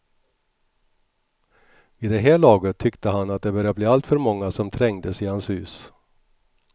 Vid det här laget tyckte han att det börjat bli alltför många som trängdes i hans hus.